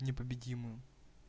непобедимую